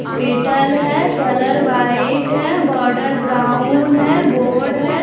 Hospital है colour white है border brown है बोर्ड है।